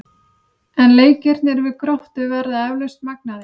En leikirnir við Gróttu verða eflaust magnaðir.